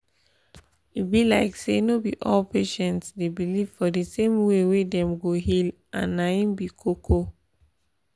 e be like say no be all patients dey believe for di same way wey dem go heal and na im be di koko.